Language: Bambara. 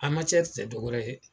A tɛ dɔ wɛrɛ ye